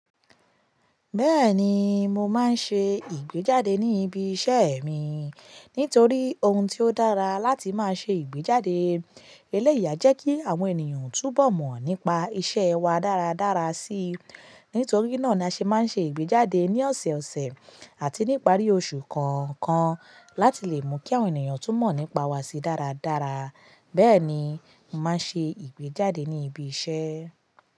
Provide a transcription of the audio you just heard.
Bẹ́ẹ̀ni, mo máa ń ṣe ìgbéjáde ní ibi iṣẹ́ mi. Nítorí ohun tí ó dára láti máa ṣe ìgbéjáde eleyi a jẹ́ kí àwọn ènìyàn túbọ̀ mọ̀ nípa iṣẹ́ wa dáradára síi. Nítorí náà ni a ṣe máa ń ṣe ìgbéjáde ní ọ̀sọ̀ọ̀sẹ̀ àti ní ìparí oṣù kọ̀ọ̀kan láti lè mú kí àwọn ènìyàn tún mọ̀ nípa wa sí dáradára. Bẹ́ẹ̀ni, mo máa ń ṣe ìgbéjáde ní ibi iṣẹ́.